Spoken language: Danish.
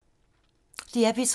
DR P2